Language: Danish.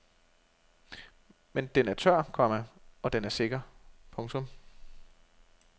Men den er tør, komma og den er sikker. punktum